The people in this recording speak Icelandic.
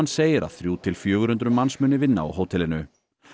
segir að þrjú til fjögur hundruð manns muni vinna á hótelinu